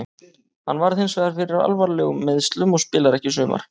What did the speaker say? Hann varð hinsvegar fyrir alvarlegum meiðslum og spilar ekki í sumar.